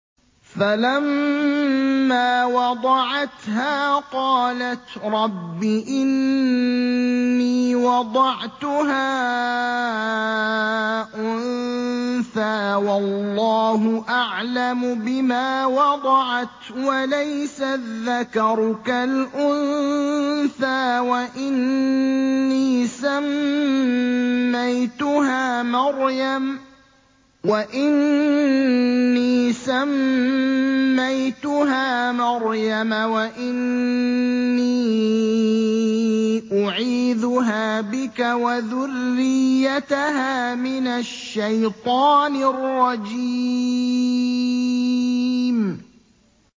فَلَمَّا وَضَعَتْهَا قَالَتْ رَبِّ إِنِّي وَضَعْتُهَا أُنثَىٰ وَاللَّهُ أَعْلَمُ بِمَا وَضَعَتْ وَلَيْسَ الذَّكَرُ كَالْأُنثَىٰ ۖ وَإِنِّي سَمَّيْتُهَا مَرْيَمَ وَإِنِّي أُعِيذُهَا بِكَ وَذُرِّيَّتَهَا مِنَ الشَّيْطَانِ الرَّجِيمِ